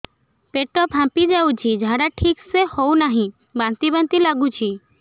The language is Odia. ପେଟ ଫାମ୍ପି ଯାଉଛି ଝାଡା ଠିକ ସେ ହଉନାହିଁ ବାନ୍ତି ବାନ୍ତି ଲଗୁଛି